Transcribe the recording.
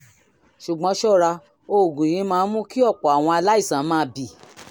ṣùgbọ́n ṣọ́ra oògùn yìí máa ń mú kí ọ̀pọ̀ àwọn aláìsàn máa bì